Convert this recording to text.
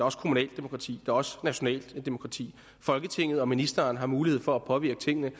også kommunalt demokrati og også nationalt demokrati folketinget og ministeren har mulighed for at påvirke tingene